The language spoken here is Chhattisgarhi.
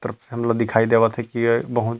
करप सन ल दिखाई देवत हे की बहुत--